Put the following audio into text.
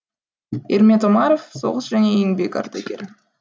ирмет омаров соғыс және еңбек ардагері